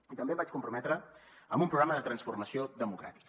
i també em vaig comprometre amb un programa de transformació democràtica